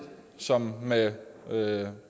sammen med med